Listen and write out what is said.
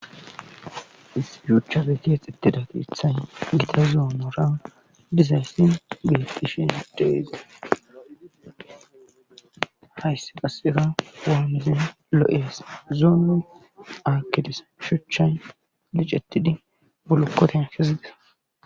Issi shuchafeti hexetida geethan gita zoomora dizayssin bettishin deeze haysse qasera hoamizin loo7ees zoono aakidis shuchchay licettidi bolokkoten kezigesa.